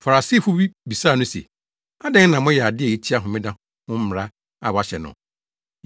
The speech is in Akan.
Farisifo bi bisaa no se, “Adɛn na moyɛ ade a etia Homeda ho mmara a wɔahyɛ no?”